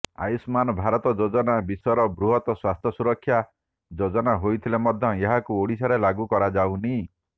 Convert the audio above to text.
ଆୟୁଷ୍ମାନ ଭାରତ ଯୋଜନା ବିଶ୍ୱର ବୃହତ ସ୍ୱାସ୍ଥ୍ୟ ସୁରକ୍ଷା ଯୋଜନା ହୋଇଥିଲେ ମଧ୍ୟ ଏହାକୁ ଓଡ଼ିଶାରେ ଲାଗୁ କରାଯାଉନି